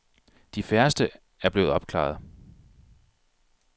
De færreste er blevet opklaret.